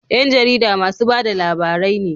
Yan jarida masu bada labarai ne